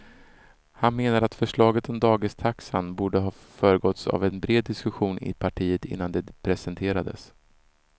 Han menar att förslaget om dagistaxan borde ha föregåtts av en bred diskussion i partiet innan det presenterades.